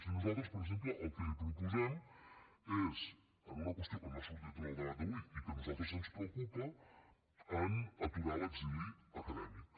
i nosaltres per exemple el que li proposem és en una qüestió que no ha sortit en el debat d’avui i que a nosaltres ens preocupa aturar l’exili acadèmic